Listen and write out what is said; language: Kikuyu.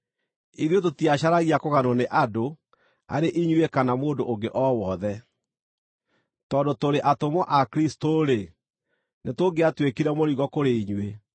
Ithuĩ tũtiacaragia kũganwo nĩ andũ, arĩ inyuĩ kana mũndũ ũngĩ o wothe. Tondũ tũrĩ atũmwo a Kristũ-rĩ, nĩtũngĩatuĩkire mũrigo kũrĩ inyuĩ,